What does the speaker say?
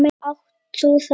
Átt þú þetta?